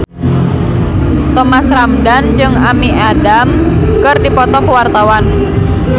Thomas Ramdhan jeung Amy Adams keur dipoto ku wartawan